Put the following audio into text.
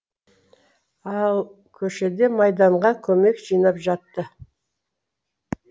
ал көшеде майданға көмек жинап жатты